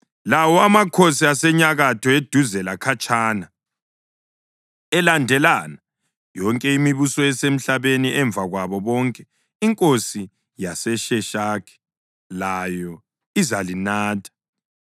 lawo amakhosi asenyakatho, eduze lakhatshana, elandelana, yonke imibuso esemhlabeni. Emva kwabo bonke, inkosi yaseSheshaki layo izalinatha.